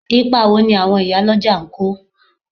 Ipa wo ni àwọn ìyálọ́jà ń kó?